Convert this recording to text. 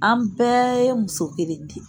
An bɛɛ ye muso kelen de ye